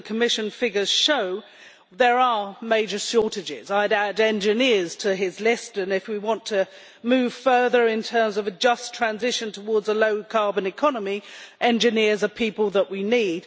As the Commission figures show, there are major shortages. I would add engineers to his list, and if we want to move further in terms of a just transition towards a low carbon economy, engineers are people that we need.